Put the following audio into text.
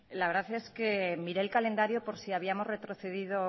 la verdad es que miré el calendario por si habíamos retrocedido